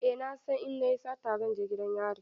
Eh na san in na yi sata zan je gidan yari.